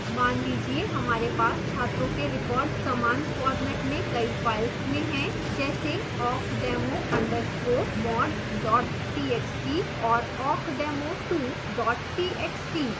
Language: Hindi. मान लीजिए हमारे पास छात्रों के records समान format में कई files में हैं जैसे awkdemo _ mod txt और awkdemo2 txt